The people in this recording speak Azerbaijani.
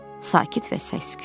Sakit və səssiz.